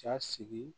Ja sigi